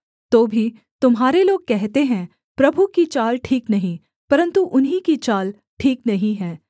तो भी तुम्हारे लोग कहते हैं प्रभु की चाल ठीक नहीं परन्तु उन्हीं की चाल ठीक नहीं है